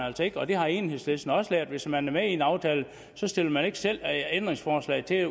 altså ikke og det har enhedslisten også lært hvis man er med i en aftale så stiller man ikke selv ændringsforslag til